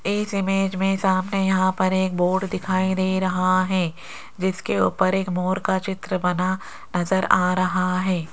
इस इमेज में सामने यहां पर एक बोर्ड दिखाई दे रहा है जिसके ऊपर एक मोर का चित्र बना नजर आ रहा है।